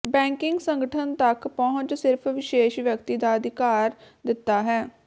banking ਸੰਗਠਨ ਤੱਕ ਪਹੁੰਚ ਸਿਰਫ਼ ਵਿਸ਼ੇਸ਼ ਵਿਅਕਤੀ ਦਾ ਅਧਿਕਾਰ ਦਿੱਤਾ ਹੈ